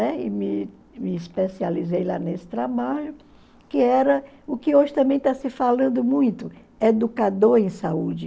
Né? e me e me especializei lá nesse trabalho, que era o que hoje também está se falando muito, educador em saúde.